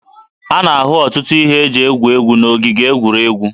A na-ahụ ọtụtụ ihe eji egwu egwu n'ogige egwuregwu